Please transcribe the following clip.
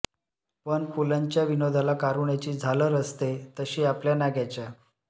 पण पुलंच्या विनोदाला कारुण्याची झालर असते तशी आपल्या नाग्याच्या